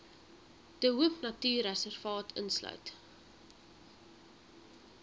de hoopnatuurreservaat insluit